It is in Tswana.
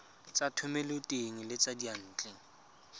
tsa thomeloteng le tsa diyantle